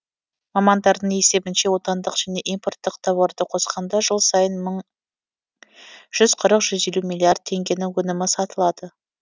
мамандардың есебінше отандық және импорттық тауарды қосқанда жыл сайын жүз қырық жүз елу миллиард теңгенің өнімі сатылады